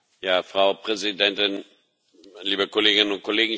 Frau Präsidentin, liebe Kolleginnen und Kollegen!